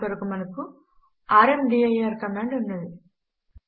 దాని కొరకు మనకు ర్మదీర్ కమాండ్ ఉన్నది